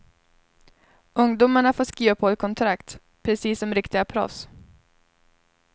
Ungdomarna får skriva på ett kontrakt, precis som riktiga proffs.